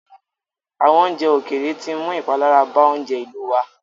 Àwọn oúnjẹ ókéré tí ń mú ìpalára bàa oúnjẹ ìlú wá.